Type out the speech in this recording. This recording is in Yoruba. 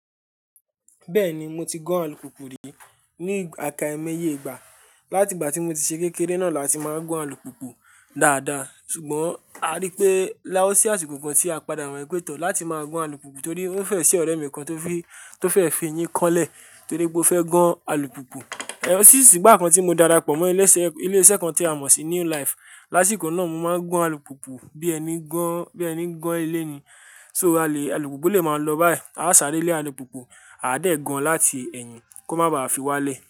Bẹ́ẹ̀ni, mo ti gán alùpùpù rí ní àká iméye ìgbà. Látìgbà tí mo ti ṣe kékeré náà láti máa gán alùpùpù dáadáa. Ṣùgbọ́n a rí pé láwọ̀sí àsìkò kan tí a padà ran pétọ̀ láti máa gán alùpùpù torí ó fẹ́ ṣe ọ̀rẹ́ mi kan tó fẹ́ fi eyín kan lẹ̀ torí pé ó fẹ́ gán alùpùpù. E rántí ṣísì gbà kan tí mo darapọ̀ mọ́ ilé-iṣẹ́ kan tí a mọ̀ sí New Life. Lásìkò náà, mo máa ń gán alùpùpù bí ẹni gán ilé ni. So, aluupupu le ma lo bayi. A ó sáré lé alùpùpù, a ó dẹ̀ gán án láti ẹ̀yìn kó má ba à fi wá lẹ̀